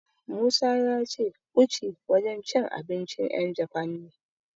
Musa ya ce Uchi wajen cin abincin 'yan Jafan ne.